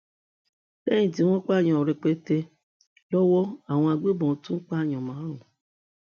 lẹyìn tí wọn pààyàn rẹpẹtẹ lọwọ àwọn agbébọn tún pààyàn márùn